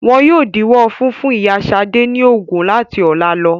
Wọn yóò díwọ́ funfun ìyá Ṣad ní oògùn láti ọ̀la lọ.